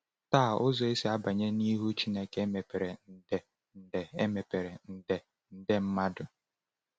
Taa, ụzọ esi abanye n’ihu Chineke emepere nde nde emepere nde nde mmadụ!